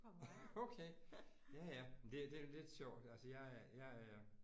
Okay ja ja men det det er lidt sjovt altså jeg er jeg er